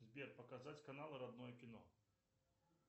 сбер показать каналы родное кино